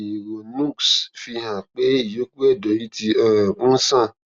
ìrònúx fi hàn pé ìyókù ẹdọ ẹyìn ti um ń ṣàn